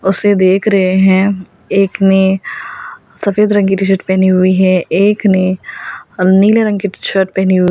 उसे देख रहे हैं एक ने सफेद रंग की टीशर्ट पहनी हुई है एक ने नीले रंग की टीशर्ट पहनी हुई।